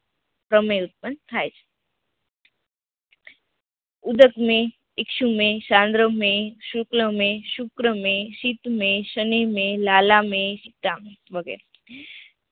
પ્રમેય ઉત્પન્ન થાય છે, ઉદ્દસ્મય, ઇકસ્યમય, સાંદ્રમય, શુક્લમાંય, શુક્રમ્ય, શીતમય, શનિમય, લાલામય, શીતમાંય વગેરે